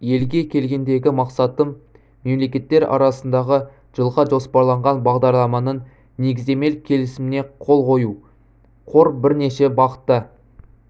елге келгендегі мақсатым мемлекеттер арасындағы жылға жоспарланған бағдарламаның негіздемелік келісіміне қол қою қор бірнеше бағытта